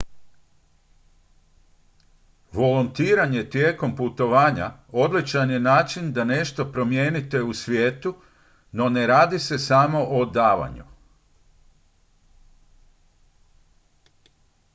volontiranje tijekom putovanja odličan je način da nešto promijenite u svijetu no ne radi se samo o davanju